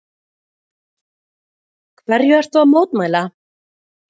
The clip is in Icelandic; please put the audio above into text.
Höskuldur: Hverju ertu að mótmæla?